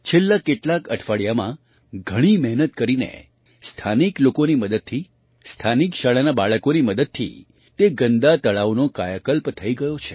છેલ્લાં કેટલાંક અઠવાડિયામાં ઘણી મહેનત કરીને સ્થાનિક લોકોની મદદથી સ્થાનિક શાળાનાં બાળકોની મદદથી તે ગંદા તળાવનો કાયાકલ્પ થઈ ગયો છે